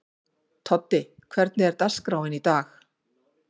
Toddi, hvernig er dagskráin í dag?